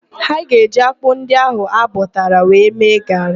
Ha ga-eji ákpụ́ ndị ahụ ha bọtara wee mee gaarị.